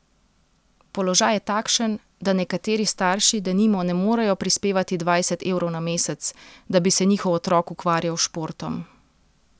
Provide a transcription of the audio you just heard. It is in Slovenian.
Položaj je takšen, da nekateri starši denimo ne morejo prispevati dvajset evrov na mesec, da bi se njihov otrok ukvarjal s športom.